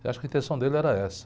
Eu acho que a intenção dele era essa.